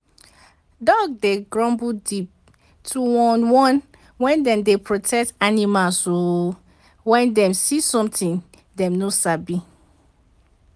dog dey grumble deep (to warn) warn) wen dem dey protect animals o wen dem see somtin dey no sabi